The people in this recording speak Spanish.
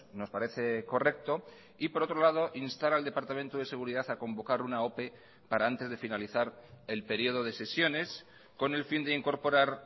nos parece correcto y por otro lado instar al departamento de seguridad a convocar una ope para antes de finalizar el periodo de sesiones con el fin de incorporar